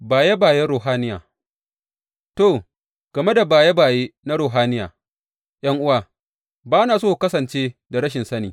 Baye bayen ruhaniya To, game da baye baye na ruhaniya, ’yan’uwa, ba na so ku kasance da rashin sani.